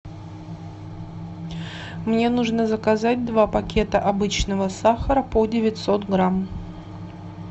мне нужно заказать два пакета обычного сахара по девятьсот грамм